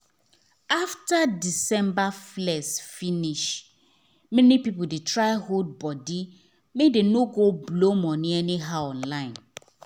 after december flex finish many people dey try hold body make dem no go blow money anyhow online.